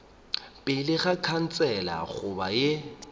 pele ga khansele goba ye